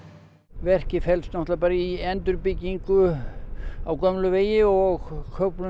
verkið felst náttúrlega bara í endurbyggingu á gömlum vegi og köflum